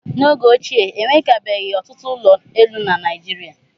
N'oge ochie, e nwekabeghị ọtụtụ ụlọ elu na Naịjirịa.